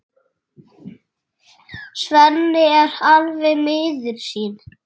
Svenni er alveg miður sín.